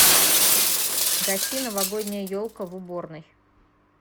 гаси новогодняя елка в уборной